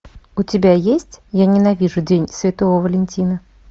у тебя есть я ненавижу день святого валентина